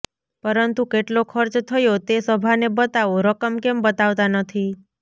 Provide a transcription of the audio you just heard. પરંતુ કેટલો ખર્ચ થયો તે સભાને બતાવો રકમ કેમ બતાવતાં નથી